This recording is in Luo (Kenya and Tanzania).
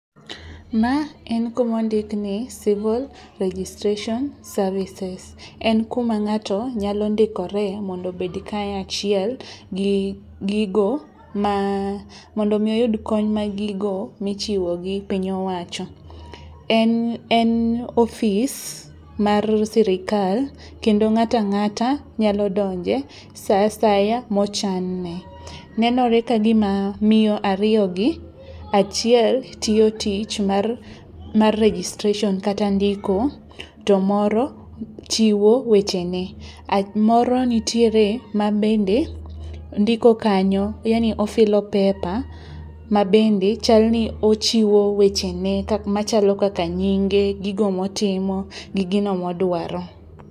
Ma en kumondik ni civil registration services. En kuma ng'ato nyalo ndikore mondo obed kanyachiel gi gigo mondo omi oyud kony ma gigo michiwo gi piny owacho. En ofis mar sirikal kendo ng'at ang'ata nyalo donje sa asaya mochanne. Nenore ka gima miyo ariyogi achiel tiyo tich mar registration kata ndiko to moro chiwo wechene. Moro nitie mabende ndiko kanyo yani ofilo pepa mabende chalni ochiwo wechene machalo kaka nyinge, gigo motimo gi gino modwaro.